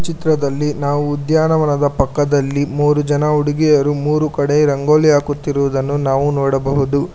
ಚಿತ್ರದಲ್ಲಿ ನಾವು ಉದ್ಯಾನವನದ ಪಕ್ಕದಲ್ಲಿ ಮೂರು ಜನ ಹುಡುಗಿಯರು ಮೂರು ಕಡೆ ರಂಗೋಲಿ ಹಾಕುತ್ತಿರುವುದನ್ನು ನಾವು ನೋಡಬಹುದು.